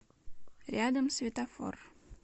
рядом светофор